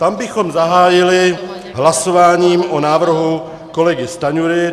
Tam bychom zahájili hlasováním o návrhu kolegy Stanjury.